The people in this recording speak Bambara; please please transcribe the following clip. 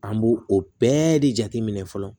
An b'o o bɛɛ de jateminɛ fɔlɔ